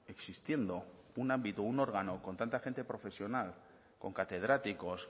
existiendo un ámbito un órgano con tanta gente profesional con catedráticos